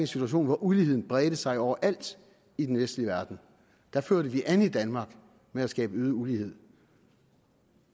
situation hvor uligheden bredte sig overalt i den vestlige verden der førte vi an i danmark med at skabe øget ulighed